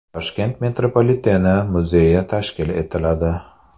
Toshkent metropoliteni muzeyi tashkil etiladi.